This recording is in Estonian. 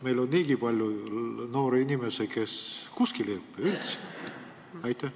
Meil on niigi palju noori inimesi, kes ei õpi üldse kuskil.